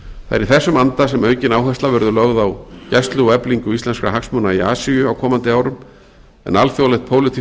í þessum anda sem aukin áhersla verður lögð á gæslu og eflingu íslenskra hagsmuna í asíu á komandi árum en alþjóðlegt pólitískt